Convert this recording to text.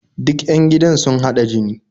Duk 'yan gidan sun haɗa jini